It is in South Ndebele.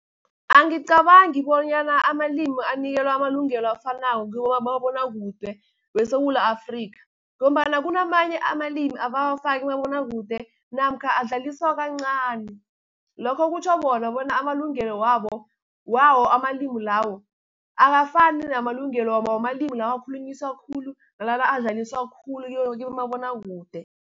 Angicabangi bonyana amalimu anikelwa amalungelo afanako kibomabonakude weSewula Afrika, ngombana kunamanye amalimi abawafaki kumabonakude namkha adlaliswa kancani. Lokho kutjho khona bona amalungelo wawo amalimu lawo akafani namalungelo wamalimu lawa akhulunyiswa khulu, nala adlaliswa khulu kibomabonakude.